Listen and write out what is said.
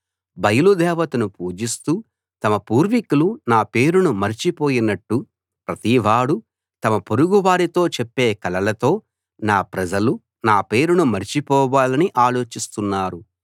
బయలు దేవతను పూజిస్తూ తమ పూర్వీకులు నా పేరును మరచిపోయినట్టు ప్రతివాడూ తమ పొరుగు వారితో చెప్పే కలలతో నా ప్రజలు నా పేరును మరచిపోవాలని ఆలోచిస్తున్నారు